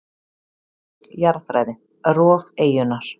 Jarðfræði: Rof eyjunnar.